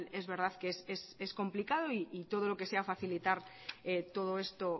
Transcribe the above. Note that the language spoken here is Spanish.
es verdad que es complicado y todo lo que sea facilitar todo esto